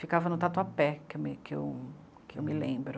Ficava no Tatuapé, que eu me que eu que eu me lembro.